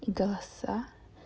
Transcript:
голоса